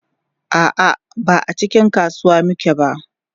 a'a ba a cikin kasuwa muke ba